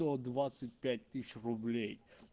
сто двадцать пять тысяч рублей